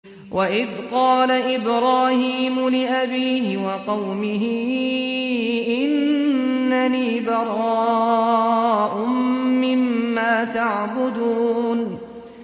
وَإِذْ قَالَ إِبْرَاهِيمُ لِأَبِيهِ وَقَوْمِهِ إِنَّنِي بَرَاءٌ مِّمَّا تَعْبُدُونَ